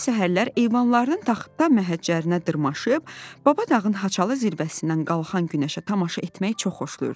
Nailə səhərlər eyvanlarının taxta məhəccərinə dırmaşıb, Baba dağın haçalı zirvəsindən qalxan günəşə tamaşa etməyi çox xoşlayırdı.